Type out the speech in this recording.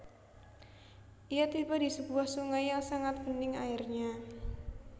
Ia tiba di sebuah sungai yang sangat bening airnya